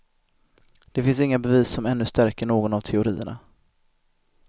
Det finns inga bevis som ännu stärker någon av teorierna.